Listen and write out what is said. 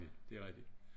Det rigtig